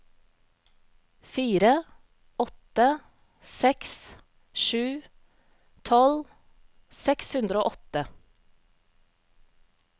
fire åtte seks sju tolv seks hundre og åtte